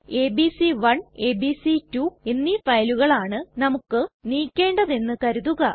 ABC one ABC two എന്നീ ഫയലുകളാണ് നമുക്ക് നീക്കേണ്ടത് എന്ന് കരുതുക